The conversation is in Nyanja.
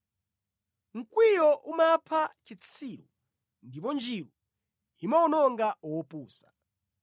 Mkwiyo umapha chitsiru, ndipo njiru imawononga wopusa.